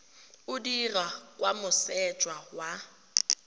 o dirwa kwa moseja wa